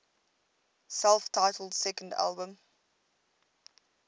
self titled second album